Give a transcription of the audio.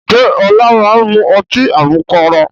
Ǹjẹ́ Ọlá máa ń mu ọtí àmupara?